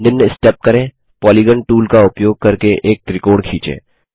निम्न स्टेप करें polygon tool का उपयोग करके एक त्रिकोण खींचें